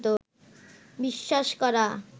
বিশ্বাস করা